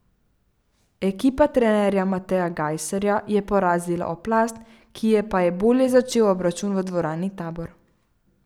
Ekipa trenerja Mateja Gajserja je porazila Oplast, ki je pa je bolje začel obračun v dvorani Tabor.